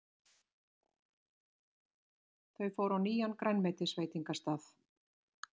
Þau fóru á nýjan grænmetisveitingastað.